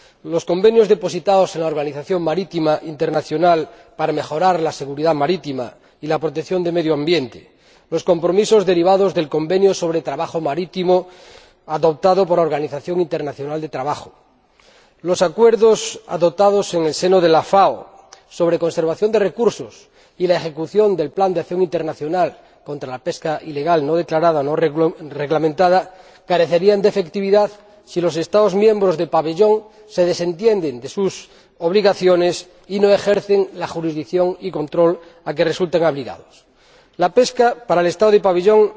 Los convenios depositados en la Organización Marítima Internacional para mejorar la seguridad marítima y la protección del medio ambiente, los compromisos derivados del Convenio sobre el trabajo marítimo adoptado por la Organización Internacional del Trabajo, los acuerdos adoptados en el seno de la FAO sobre la conservación de recursos y la ejecución del plan de acción internacional contra la pesca ilegal, no declarada y no reglamentada carecen de efectividad si los Estados miembros del pabellón se desentienden de sus obligaciones y no ejercen la jurisdicción y el control a que resulten obligados. La pesca, para el Estado del pabellón,